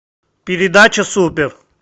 передача супер